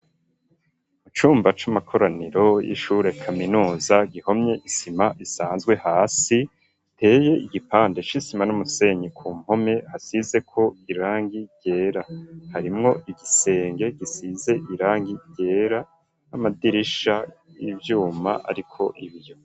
Mu cumba c'amakoraniro y'ishure kaminuza gihomye isima isanzwe, hasi iteye igipande c'isima n'umusenyi, ku mpome hasizeko irangi ryera ,harimwo igisenge gisize irangi ryera n'amadirisha y'ivyuma ariko ibiyo.